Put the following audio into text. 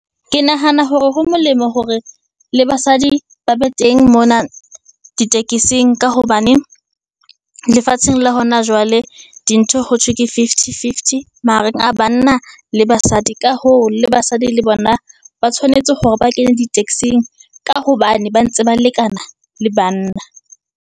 Ke nahana hore ho molemo hore le basadi ba be teng mona ditekesing, ka hobane lefatsheng la hona jwale dintho ho thwe ke fifty fifty mahareng a banna le basadi. Ka hoo, le basadi le bona ba tshwanetse hore ba kene ditekesing ka hobane ba ntse ba lekana le banna.